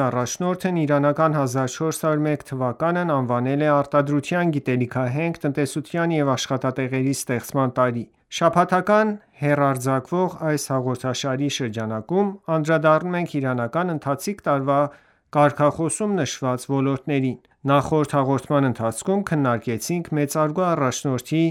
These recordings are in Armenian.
ԻԻՀ առաջնորդն իրանական 1401 թվականն անվանել է «Արտադրության, գիտելիքահենք տնտեսության ու աշխատատեղերի ստեղծման տարի»: Շաբաթական հեռարձակվող այս հաղորդաշարի շրջանակում անդրադառնում ենք իրանական ընթացիկ տարվա կարգախոսում նշված ոլորտներին: Նախորդ հաղորդման ընթացքում քննարկեցինք մեծարգո առաջնորդի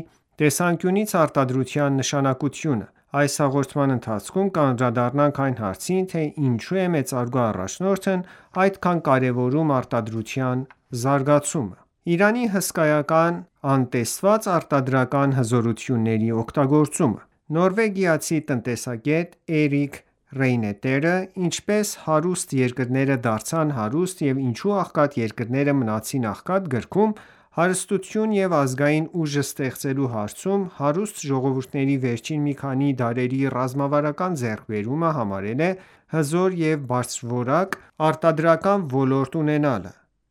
տեսանկյունից արտադրության նշանակությունը: Այս հաղորդման ընթացքում կանդրադառնանք այն հարցին, թե ինչո՞ւ է մեծարգո առաջնորդն այդքան կարևորում արտադրության զարգացումը: Իրանի հսկայական անտեսված արտադրական հզորությունների օգտագործումը Նորվեգացի տնտեսագետ Էրիկ Ռեյներտը «Ինչպես հարուստ երկրները դարձան հարուստ և ինչու աղքատ երկրները մնացին աղքատ» գրքում, հարստություն և ազգային ուժ ստեղծելու հարցում հարուստ ժողովրդների վերջին մի քանի դարերի ռազմավարական ձեռքբերումը համարել է հզոր և բարձրորակ արտադրական ոլորտ ունենալը։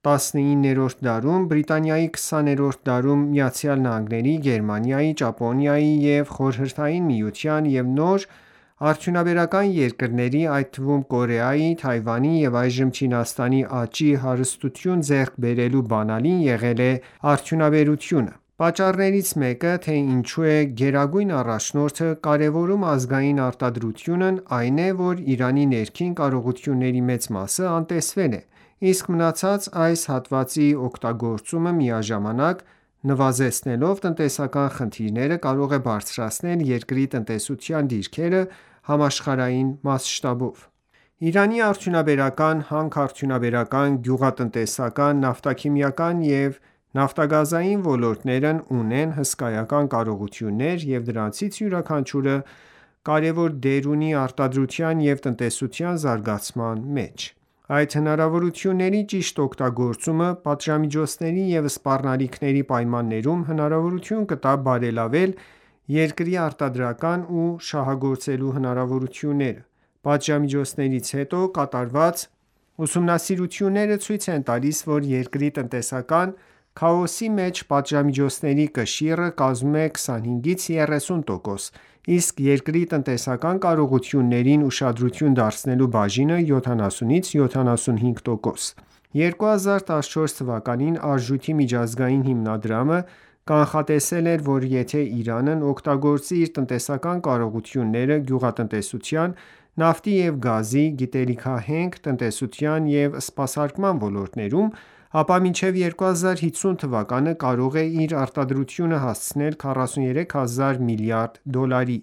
19-րդ դարում Բրիտանիայի և 20-րդ դարում ԱՄՆ-ի, Գերմանիայի, Ճապոնիայի և Խորհրդային Միության և նոր արդյունաբերական երկրների, այդ թվում՝ Կորեայի, Թայվանի և այժմ Չինաստանի աճի, հարստություն ձեռք բերելու բանալին եղել է արդյունաբերությունը: Պատճառներից մեկը, թե ինչու է գերագույն առաջնորդը կարևորում ազգային արտադրությունն, այն է, որ Իրանի ներքին կարողությունների մեծ մասը անտեսվել է, իսկ մնացած այս հատվածի օգտագործումը, միաժամանակ նվազեցնելով տնտեսական խնդիրները կարող է բարձրացնել երկրի տնտեսության դիրքերը համաշխարհային ամսշտաբով։ Իրանի արդյունաբերական, հանքարդյունաբերական, գյուղատնտեսական, նավթաքիմիական և նավթագազային ոլորտներևն ունեն հսկայական կարողություններ և դրանցից յուրաքանչյուրը կարևոր դեր ունի արտադրության և տնտեսության զարգացման մեջ: Այդ հնարավորությունների ճիշտ օգտագործումը պատժամիջոցների ու սպառնալիքների պայմաններում հնարավորություն կտա բարելավել երկրի արտադրական ու շահագործելու հնարավորությունները։ Պատժամիջոցներից հետո կատարված ուսումնասիրությունները ցույց են տալիս, որ երկրի տնտեսության քաոսի մեջ պատժամիջոցների կշիռը կազմում է 25-30 տոկոս, իսկ երկրի տնտեսական կարողություններին ուշադրություն չդարձնելու բաժինը 70-75 տոկոս է։ 2014 թվականին Արժույթի միջազգային հիմնադրամը կանխատեսել էր, որ եթե Իրանն օգտագործի իր տնտեսական կարողությունները գյուղատնտեսության, նավթի և գազի, գիտելիքահենք տնտեսության և սպասարկման ոլորտներում, ապա մինչև 2050 թվականը կարող է իր արտադրությունը հասցնել 43 հազար միլիարդ դոլարի։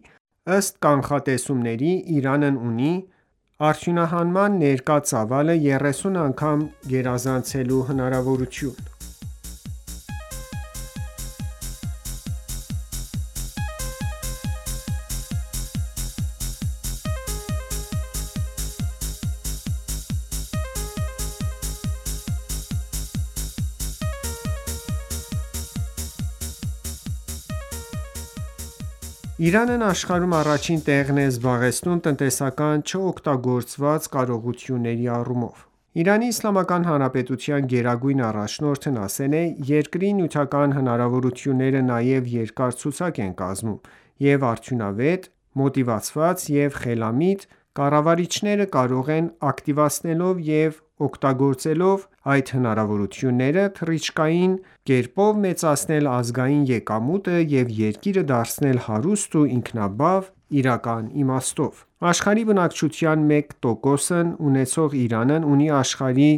Ըստ կանխատեսումների՝ Իրանն ունի արդյունահանման ներկա ծավալը 30 անգամ գերազանցելու հնարավորություն։ Իրանն աշխարհում առաջին տեղն է զբաղեցնում տնտեսական չօգտագործված կարողությունների առումով։ ԻԻՀ գերագուն առաջնորդն ասել է.«Երկրի նյութական հնարավորությունները նաև երկար ցուցակ են կազմում, և արդյունավետ, մոտիվացված և խելամիտ կառավարիչները կարող են ակտիվացնելով և օգտվելով դրանցից՝ թռիչքային կերպով մեծացնել ազգային եկամուտը և երկիրը դարձնել հարուստ և ինքնաբավ՝ իրական իմաստով: Աշխարհի բնակչության 1 տոկոսն ունեցող Իրանն ունի աշխարհի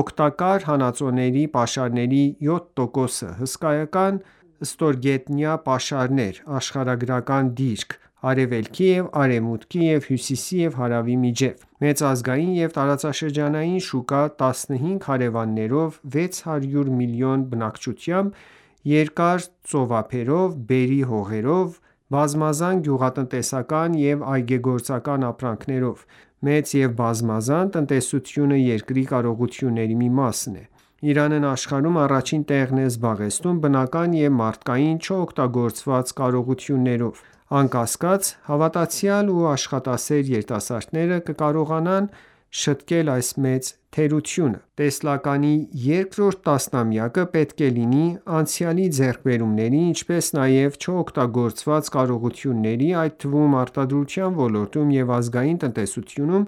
օգտակար հանածոների պաշարների 7%-ը՝ հսկայական ստորգետնյա պաշարներ, աշխարհագրական դիրք՝ արևելքի և արևմուտքի և հյուսիսի և հարավի միջև: Մեծ ազգային և տարածաշրջանային շուկա՝ 15 հարևաններով՝ 600 միլիոն բնակչությամբ, երկար ծովափերով, բերրի հողերով՝ բազմազան գյուղատնտեսական և այգեգործական ապրանքներով, մեծ և բազմազան տնտեսությունը երկրի կարողությունների մի մասն է: Իրանն աշխարհում առաջին տեղն է զբաղեցնում բնական և մարդկային չօգտագործված կարողություններով: Անկասկած, հավատացյալ ու աշխատասեր երիտասարդները կկարողանան շտկել այս մեծ թերությունը։ Տեսլականի երկրորդ տասնամյակը պետք է լինի անցյալի ձեռքբերումների, ինչպես նաև չօգտագործված կարողությունների, այդ թվում՝ արտադրության ոլորտում և ազգային տնտեսությունում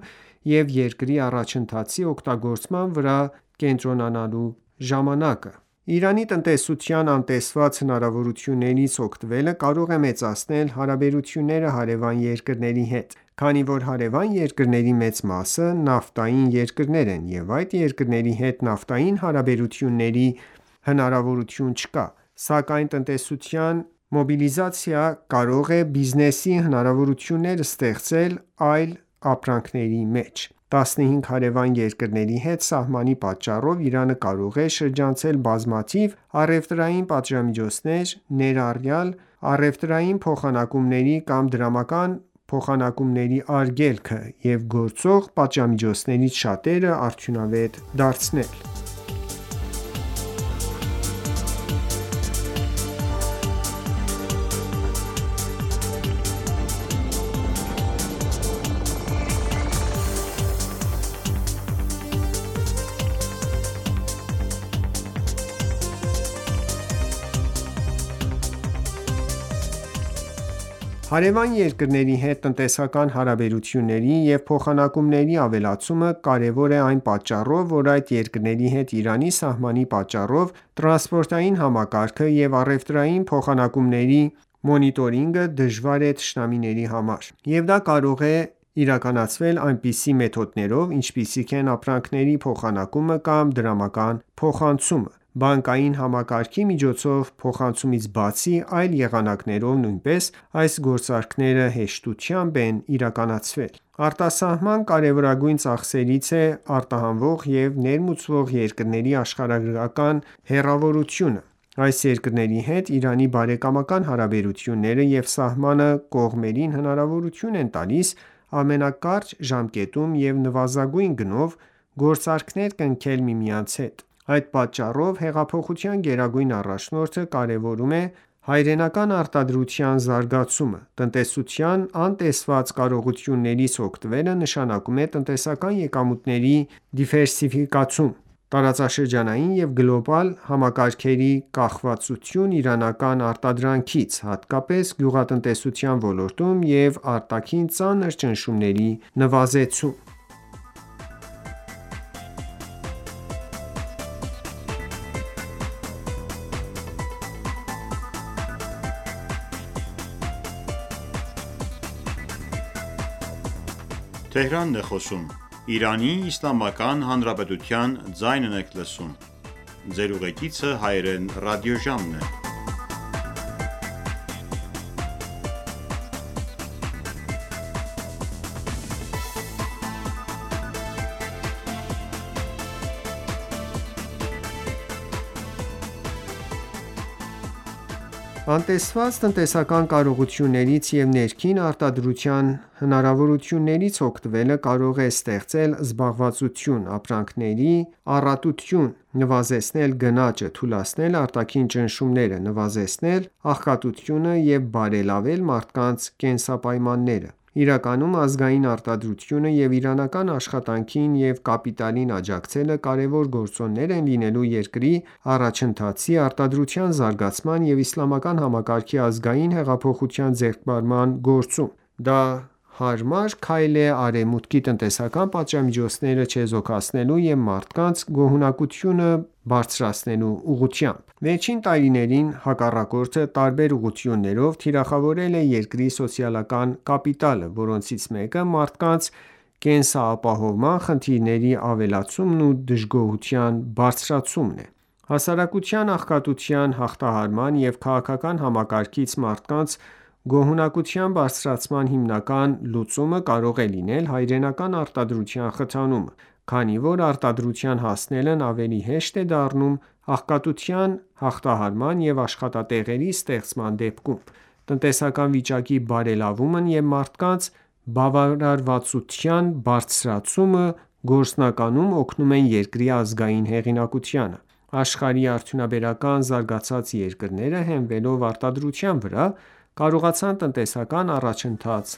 և երկրի առաջընթացի օգտագործման վրա կենտրոնանալու ժամանակը»: Իրանի տնտեսության անտեսված հնարավորություններից օգտվելը կարող է մեծացնել հարաբերությունները հարևան երկրների հետ, քանի որ հարևան երկրների մեծ մասը նավթային երկրներ են, և այդ երկրների հետ նավթային հարաբերությունների հնարավորություն չկա։ Սակայն տնտեսության դիվերսիֆիկացումը կարող է բիզնեսի հնարավորություններ ստեղծել այլ ապրանքների մեջ: 15 հարևան երկրների հետ սահմանի պատճառով Իրանը կարող է շրջանցել բազմաթիվ առևտրային պատժամիջոցներ, ներառյալ առևտրային փոխանակումների կամ դրամական փոխանցումների արգելքը, և գործող պատժամիջոցներից շատերը անարդյունավետ դարձնել: Հարևան երկրների հետ տնտեսական հարաբերությունների և փոխանակումների ավելացումը կարևոր է այն պատճառով, որ այդ երկրների հետ Իրանի սահմանի պատճառով տրանսպորտային համակարգը և առևտրային փոխանակումների մոնիտորինգը դժվար է թշնամիների համար, և դա կարող է իրականացվել այնպիսի մեթոդներով, ինչպիսիք են ապրանքների փոխանակումը կամ դրամական փոխանցումը: Բանկային համակարգի միջոցով փոխանցումից բացի, այլ եղանակներով նույնպես այս գործարքները հեշտությամբ են իրականացվել: Արտահանման կարևորագույն ծախսերից է արտահանող և ներմուծող երկրների աշխարհագրական հեռավորությունը։ Այս երկրների հետ Իրանի բարեկամական հարաբերությունները և սահմանը կողմերին հնարավորություն են տալիս ամենակարճ ժամանակում և նվազագույն գնով գործարքներ կնքել միմյանց հետ: Այդ ատճառով, հեղափոխության գերագույն առաջնորդը կարևորում է հայրենական արտադրության զարգացումը։ Տնտեսության անտեսված կարողություններից օգտվելը նշանակում է տնտեսական եկամուտների դիվերսիֆիկացում, տարածաշրջանային և գլոբալ համակարգերի կախվածություն իրանական արտադրանքից, հատկապես գյուղատնտեսության ոլորտում, և արտաքին ծանր ճնշումների նվազեցում: Արդարության զարգացումը և ազգային հեղինակության ձեռքբերումը Անտեսված տնտեսական կարողություններից և ներքին արտադրության հնարավորություններից օգտվելը կարող է ստեղծել զբաղվածություն, ապրանքների առատություն, նվազեցնել գնաճը, թուլացնել արտաքին ճնշումները, նվազեցնել աղքատությունը և բարելավել մարդկանց կենսապայմանները։ Իրականում ազգային արտադրությունը և իրանական աշխատանքին ու կապիտալին աջակցելը կարևոր գործոններ են լինելու երկրի առաջընթացի, արդարության զարգացման և իսլամական համակարգի ազգային հեղինակության ձեռքբերման գործում: Դա հարմար քայլ է Արևմուտքի տնտեսական պատժամիջոցները չեզոքացնելու և մարդկանց գոհունակությունը բարձրացնելու ուղղությամբ։ Վերջին տարիներին հակառակորդը տարբեր ուղղություններով թիրախավորել է երկրի սոցիալական կապիտալը, որոնցից մեկը մարդկանց կենսապահովման խնդիրների ավելացումն ու դժգոհության բարձրացումն է։ Հասարակության աղքատության հաղթահարման և քաղաքական համակարգից մարդկանց գոհունակության բարձրացման հիմնական լուծումը կարող է լինել հայրենական արտադրության խթանումը, քանի որ արդարության հասնելն ավելի հեշտ է դառնում աղքատության հաղթահարման և աշխատատեղերի ստեղծման դեպքում։ Տնտեսական վիճակի բարելավումն ու մարդկանց բավարարվածության բարձրացումը գործնականում օգնում են երկրի ազգային հեղինակությանը։ Աշխարհի արդյունաբերական զարգացած երկրները, հենվելով արտադրության վրա, կարողացան տնտեսական առաջընթաց